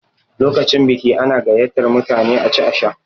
Lokacin biki ana gayyatar mutane a ci a sha.